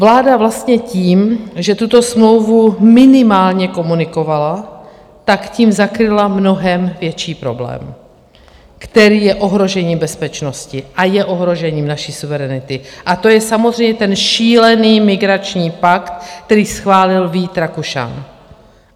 Vláda vlastně tím, že tuto smlouvu minimálně komunikovala, tak tím zakryla mnohem větší problém, který je ohrožením bezpečnosti a je ohrožením naší suverenity, a to je samozřejmě ten šílený migrační pakt, který schválil Vít Rakušan.